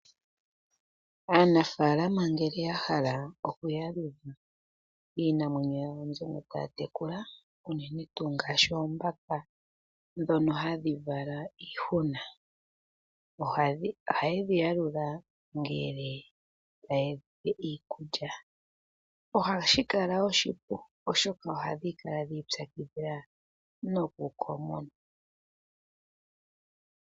Aanafalama ngele ya hala okuyalula iinamwenyo yawo mbyono taa tekula, unene tuu ngaashi oombaka dhono hadhi vala iihuna. Ohaye dhi yalula ngele taye dhi pe iikulya, ohashi kala oshipu oshoka ohadhi kala dhi ipyakidhila nokukomona.